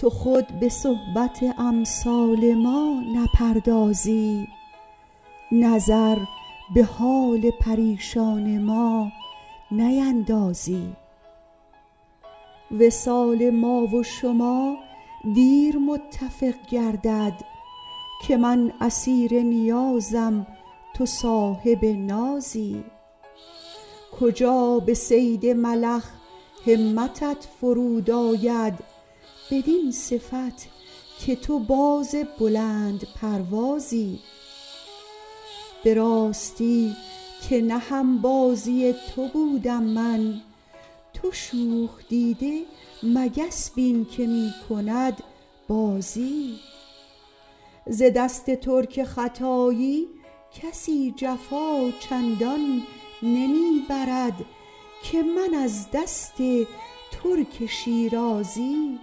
تو خود به صحبت امثال ما نپردازی نظر به حال پریشان ما نیندازی وصال ما و شما دیر متفق گردد که من اسیر نیازم تو صاحب نازی کجا به صید ملخ همتت فرو آید بدین صفت که تو باز بلندپروازی به راستی که نه هم بازی تو بودم من تو شوخ دیده مگس بین که می کند بازی ز دست ترک ختایی کسی جفا چندان نمی برد که من از دست ترک شیرازی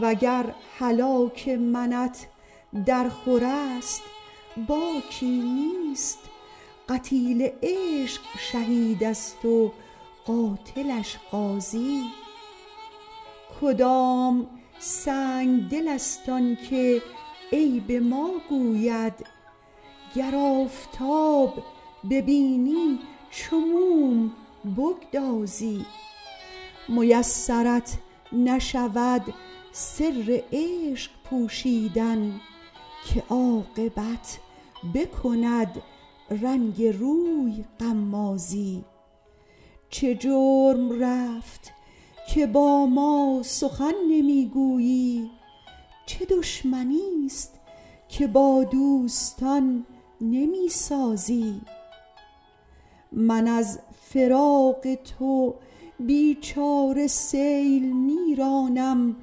و گر هلاک منت درخور است باکی نیست قتیل عشق شهید است و قاتلش غازی کدام سنگدل است آن که عیب ما گوید گر آفتاب ببینی چو موم بگدازی میسرت نشود سر عشق پوشیدن که عاقبت بکند رنگ روی غمازی چه جرم رفت که با ما سخن نمی گویی چه دشمنیست که با دوستان نمی سازی من از فراق تو بی چاره سیل می رانم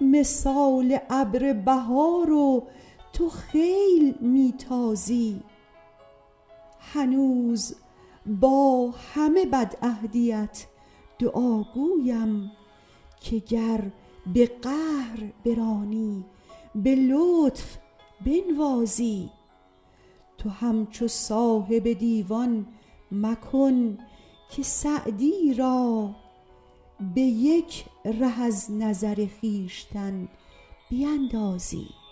مثال ابر بهار و تو خیل می تازی هنوز با همه بدعهدیت دعاگویم که گر به قهر برانی به لطف بنوازی تو همچو صاحب دیوان مکن که سعدی را به یک ره از نظر خویشتن بیندازی